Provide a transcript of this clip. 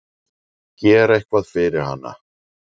Gera eitthvað fyrir hana.